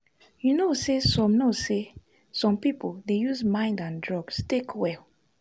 you know say some know say some people dey use mind and drugs take well.